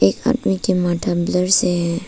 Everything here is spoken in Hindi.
एक आदमी की ब्लर से है।